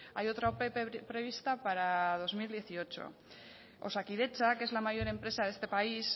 hay otra ope prevista para dos mil dieciocho osakidetza que es la mayor empresa de este país